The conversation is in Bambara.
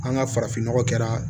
An ka farafinnɔgɔ kɛra